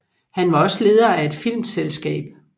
Han var også leder af et filmselskab